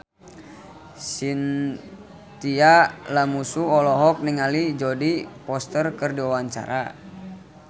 Chintya Lamusu olohok ningali Jodie Foster keur diwawancara